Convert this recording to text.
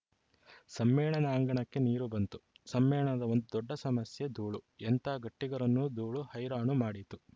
ಸಮ್ಮೇಳನಾಂಗಣಕ್ಕೆ ನೀರು ಬಂತು ಸಮ್ಮೇಳನದ ಒಂದು ದೊಡ್ಡ ಸಮಸ್ಯೆ ಧೂಳು ಎಂಥಾ ಗಟ್ಟಿಗರನ್ನೂ ಧೂಳು ಹೈರಾಣು ಮಾಡಿತು